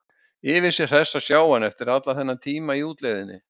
Yfir sig hress að sjá hann eftir allan þennan tíma í útlegðinni.